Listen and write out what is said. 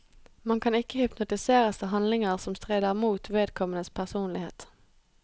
Man kan ikke hypnotiseres til handlinger som strider mot vedkommendes personlighet.